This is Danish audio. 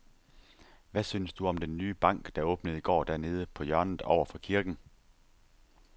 Hvad synes du om den nye bank, der åbnede i går dernede på hjørnet over for kirken?